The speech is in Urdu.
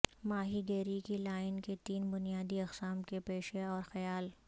ماہی گیری کی لائن کے تین بنیادی اقسام کے پیشہ اور خیال